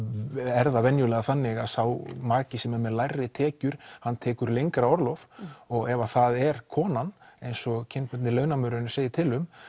er það venjulega þannig að sá maki sem er með lægri tekjur hann tekur lengra orlof og ef að það er konan eins og kynbundni launamunurinn segir til um